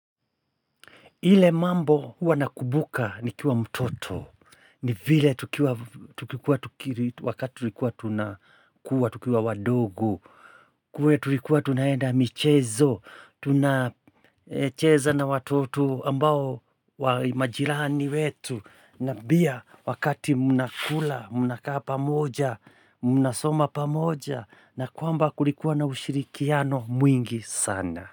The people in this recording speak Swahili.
Ile mambo huwa nakumbuka nikiwa mtoto, ni vile tukikua wakati tulikuwa tunakua, tukiwa wadogo, kuwe tulikuwa tunaenda michezo, tuna cheza na watoto ambao majirani wetu, na pia wakati mnakula, mnakaa pamoja, mnasoma pamoja, na kwamba kulikuwa na ushirikiano mwingi sana.